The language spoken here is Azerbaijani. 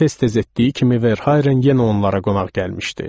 Tez-tez etdiyi kimi Verhayren yenə onlara qonaq gəlmişdi.